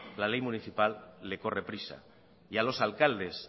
la ley municipal le corre prisa y a los alcaldes